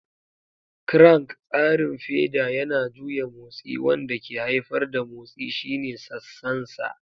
Crank: Tsarin feda yana juya motsi wanda ke haifar da motsi shine sassansa.